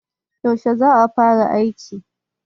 yaushe za ka fara aikin